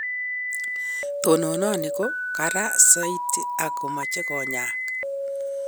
Tononani ko kara saiti ak komsche konyaak